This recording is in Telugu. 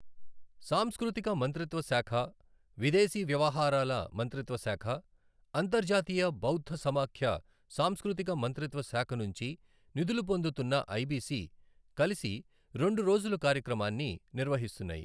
సాంస్కృతిక మంత్రిత్వ శాఖ, విదేశీ వ్యవహారాల మంత్రిత్వ శాఖ, అంతర్జాతీయ బౌద్ధ సమాఖ్య సాంస్కృతిక మంత్రిత్వ శాఖనుంచి నిధులు పొందుతున్నఐబిసి కలిసి రెండు రోజుల కార్యక్రమాన్ని నిర్వహిస్తున్నాయి.